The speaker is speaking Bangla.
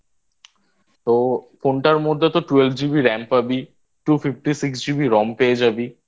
তো ফোনটার মধ্যে তো Twelve GB RAM পাবি Two Fifity Six GB ROM পেয়ে যাবি